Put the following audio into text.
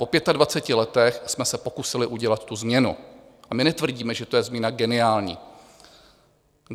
Po 25 letech jsme se pokusili udělat tu změnu, a my netvrdíme, že to je změna geniální.